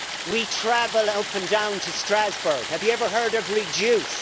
We travel up and down to Strasbourg have you ever heard of reduce'?